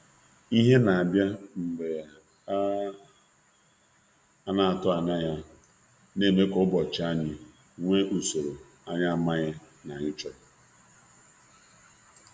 Ihe a na-atụghị anya ya na enyekarị ụbọchị anyị ụda nke anyị amaghị na ọ na-agụsi anyị agụụ ike.